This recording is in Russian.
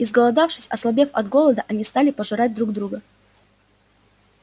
изголодавшись ослабев от голода они стали пожирать друг друга